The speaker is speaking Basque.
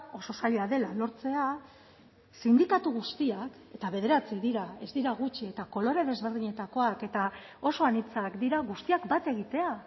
oso zaila dela lortzea sindikatu guztiak eta bederatzi dira ez dira gutxi eta kolore desberdinetakoak eta oso anitzak dira guztiak bat egitea